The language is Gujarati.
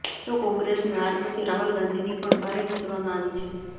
તો કોંગ્રેસની હાર પછી રાહુલ ગાંધીની પણ ભારે ખેંચવામાં આવી છે